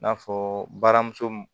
I n'a fɔ baramuso